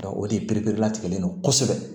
o de pere latigɛlen don kosɛbɛ